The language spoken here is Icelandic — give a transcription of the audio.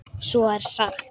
Svo er sagt.